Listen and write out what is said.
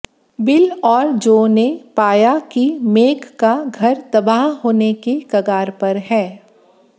bill और Jo ने पाया कि मेग का घर तबाह होने के कगार पर है